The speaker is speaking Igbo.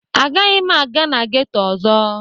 Agaghị m aga na geto ọzọ.